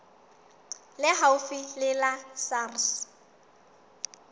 le haufi le la sars